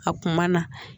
A kuma na